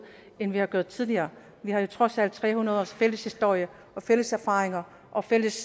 end vi har været tidligere vi har jo trods alt tre hundrede års fælles historie og fælles erfaringer og fælles